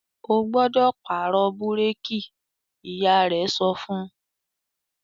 "Ó gbọ́dọ̀ pàrọ̀ búrékì!", Ìyá rẹ̀ sọ fún